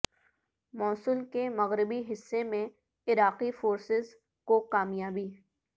موصل کے مغربی حصے میں عراقی فورسز کو کامیابیاں